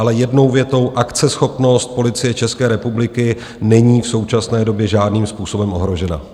Ale jednou větou: akceschopnost Policie České republiky není v současné době žádným způsobem ohrožena.